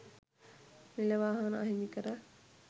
නිල වාහන අහිමි කර